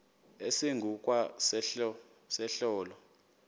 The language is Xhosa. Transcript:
esingu kwa sehlelo